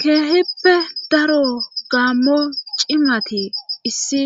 keehippe daro gaammo cimati issi